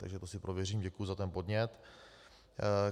Takže to si prověřím, děkuji za ten podnět.